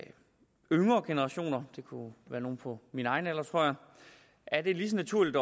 yngre generationer det kunne være nogle på min egen alder tror jeg er det lige så naturligt